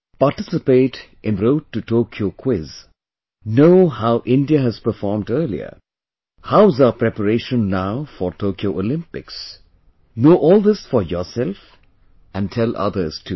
Participate in the Road to Tokyo Quiz, know how India has performed earlier, how is our preparation now for Tokyo Olympics, know all this for yourself and tell others too